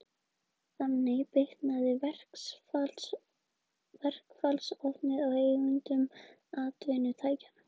Þannig bitnaði verkfallsvopnið á eigendum atvinnutækjanna.